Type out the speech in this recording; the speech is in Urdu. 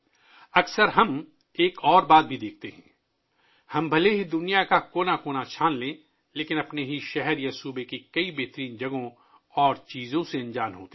اکثر ہم ایک اور چیز بھی دیکھتے ہیں...دنیا کے کونے کونے میں تلاش کرنے کے باوجود ہم اپنے ہی شہر یا ریاست میں بہت سی بہترین جگہوں اور چیزوں سے انجان ہوتے ہیں